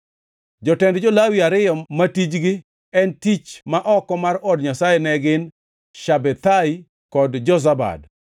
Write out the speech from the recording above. Jotend jo-Lawi ariyo ma tijgi en tich ma oko mar od Nyasaye ne gin, Shabethai kod Jozabad.